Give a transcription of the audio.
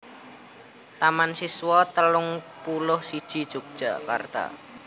Taman Siswa telung puluh siji Yogyakarta